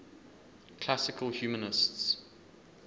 classical humanists